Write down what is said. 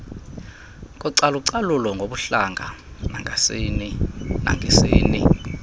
kocalucalulo ngobuhlanga nangesini